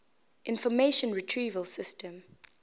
information retrieval system